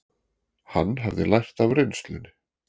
Hann hafði lært af reynslunni.